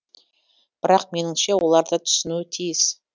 бірақ меніңше олар да түсінуі тиіс